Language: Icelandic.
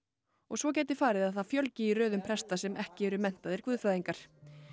og svo gæti farið að það fjölgi í röðum presta sem ekki eru menntaðir guðfræðingar